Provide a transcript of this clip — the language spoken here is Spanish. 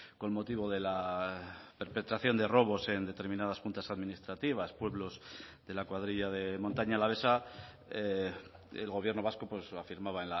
con motivo de la perpetración de robos en determinadas juntas administrativas pueblos de la cuadrilla de montaña alavesa el gobierno vasco afirmaba